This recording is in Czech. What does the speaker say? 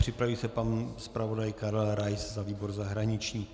Připraví se pan zpravodaj Karel Rais za výbor zahraniční.